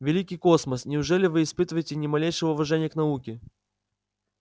великий космос неужели вы испытываете ни малейшего уважения к науке